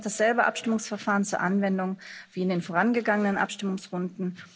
Es kommt dasselbe Abstimmungsverfahren zur Anwendung wie in den vorangegangen Abstimungsrunden.